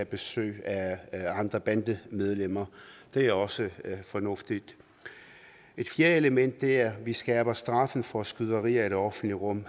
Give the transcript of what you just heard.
besøg af andre bandemedlemmer det er også fornuftigt et fjerde element er vi skærper straffen for skyderier i det offentlige rum